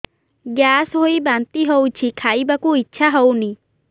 gas ହୋଇ ବାନ୍ତି ହଉଛି ଖାଇବାକୁ ଇଚ୍ଛା ହଉନି